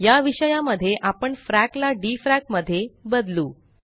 या विषया मध्ये आपण फ्रॅक ला डीफ्रॅक मध्ये बदलू